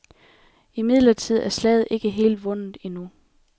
Imidlertid er slaget ikke helt vundet endnu.